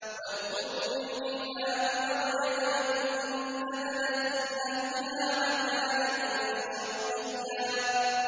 وَاذْكُرْ فِي الْكِتَابِ مَرْيَمَ إِذِ انتَبَذَتْ مِنْ أَهْلِهَا مَكَانًا شَرْقِيًّا